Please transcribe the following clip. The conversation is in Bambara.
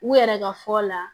U yɛrɛ ka fɔ la